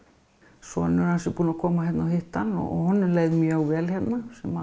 sonur hans er búinn að koma hérna og hitta hann og honum leið mjög vel hérna sem